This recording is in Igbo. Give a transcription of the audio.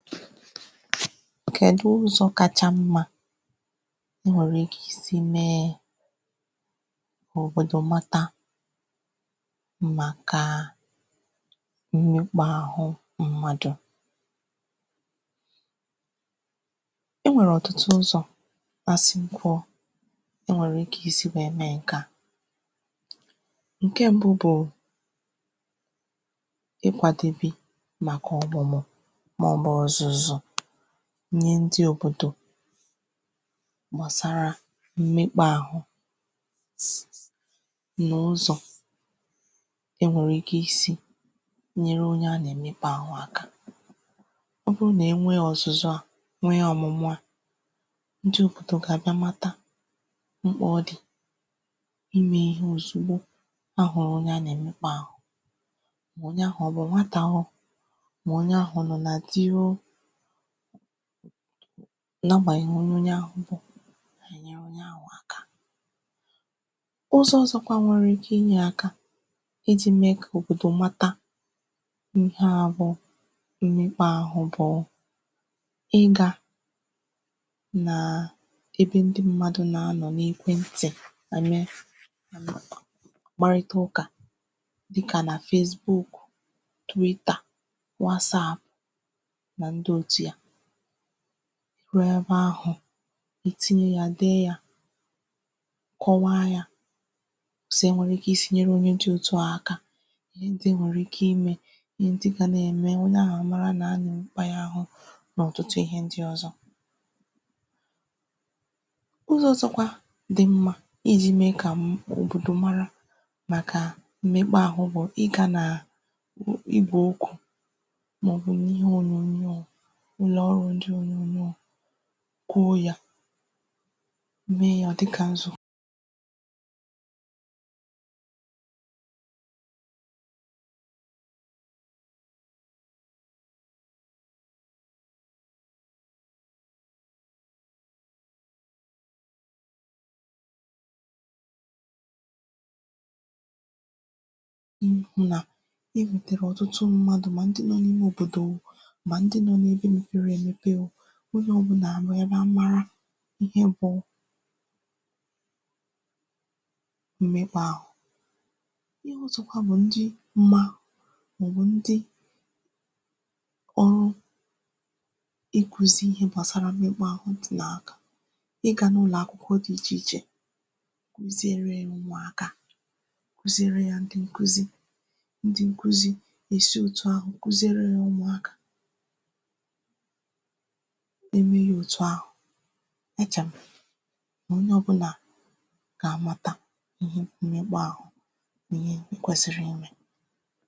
kèdu ụzọ̄ kacha mmā i nwèrè ike isī mee kà òbòdò mata màkà mmekpā àhụ m̀madụ̀ e nwèrè ọ̀tụtụ ụzọ̀ asị m kwuo e nwèrè ike isi wee mee ǹkè a ǹke mbu bụ̀ ị kwàdèbè màkà ọ̀mụ̀mụ̀ màọbụ̀ ọ̀zụ̀zụ̀ ihe ndị òbòdò gbàsàrà mmekpaàhụ n’ụzọ̀ e nwèrè ike isī nyere onye a nà-èmekpa àhụ a ọ bụrụ nà enwe ọ̀zụzụ a nwee ọ̀mụ̀mụ̀ a nji ụ̀kụtụ kà ha mata mkpà ọ dì imē ihe òzugbo ahụ̀rụ onye a nà-èmekpa àhụ mà onye ahụ̀ ọ bụ nwata o mà onye ahụ̀ ọ nọ na di o na agbanyeghi onye onye ahụ̄ bụ̀ ụzọ ọ̀zọkwa nwere ike ninyē aka ijī mee kà òbìdì mata ihe a bụ mmekpaàhụ bụ ịgā na ebe ndị m̀madụ nà-anọ n’ekwentì à mee kparịtaụkà dịkà na facebook twitter what'sapp nà ndị òtu ya ruo ebe ahụ̀ itinye ya dee yā kọwaa yā si ya wère ike isīnyere onye dī òtu a aka ihe ndị i nwère ike ime ihe ndị ga na-ènme onye ahụ̀ àmara nà a nà-èmekpa ya àhụ nà ọ̀tụtụ ihē ndị ọ̀zọ ụzọ ọ̀zọkwa di mmā ijī mee kà m òbòdò mara màkà mmekpaàhụ bụ ịgā nà ibo ukwò màọbụ n’ihe ònyònyo a nwa ndị ònyònyo a kwuo ya mee ya dịkà nzù ihū nà ibùtèrè ọ̀tụtụ m̀madụ mà ndị nọ n’ime òbòdò mà ndị nọ n’ebe mepere èmepe o onye ọ̀bụla mee bịa mara ihe bụ mmekpaàhụ ihe ọ̀zọkwa bụ ndị ma màọbụ ndị ọrụ ịkwụzị ihe gbàsara mmekpaàhụ di nà ị gā n’ụlọ̀akwụkwọ di ichè ichè kụziere yā umùaka kụziere yā ndị nkụzị ndị nkụzị èsi òtu àhụ kụziere yā umùaka imē ya òtù ahụ̀ mechàpụ nà onye ọ̀bụnà gà-àmata ihe mmekpa àhụ ihe i kwèsìrì imē